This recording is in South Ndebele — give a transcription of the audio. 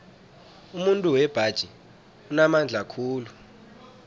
umuntu wembaji unamandla khulu